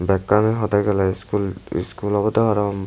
bekkan hwdey geley iskul iskul awbwdey parapang.